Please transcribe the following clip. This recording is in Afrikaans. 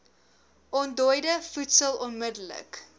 ontdooide voedsel onmidddelik